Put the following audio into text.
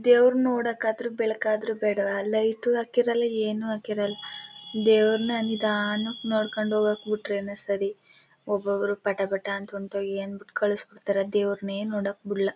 ದೇವ್ನ ನೋಡಕ್ಕೆ ಆದರು ಬೆಳಕಾದ್ರು ಬೇಡ್ವಾ ಲೈಟ್ ಹಾಕಿರುಲ್ಲ ಏನು ಹಾಕಿರೋಲ್ಲ ದೇವರನ್ನ ನಿಧಾನವಾಗಿ ನೋಡ್ಕೊಂಡು ಹೋಗೋಕೆ ಬಿಟ್ಬಿಟಾರೆ ಒಬ್ಬರೊಬ್ಬರು ಪಟಪಟ ಅಂತ ಕಳ್ಸ್ಬಿಡ್ತಾರೆ ದೇವರ ನೋಡಕ್ಕೆ ಬಿಡಲ್ಲ.